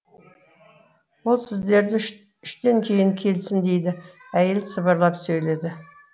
ол сіздерді үштен кейін келсін дейді әйел сыбырлап сөйледі